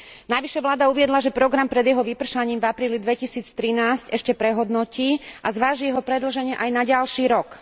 Navyše vláda uviedla, že program pred jeho vypršaním v apríli 2013 ešte prehodnotí a zváži jeho predĺženie aj na ďalší rok.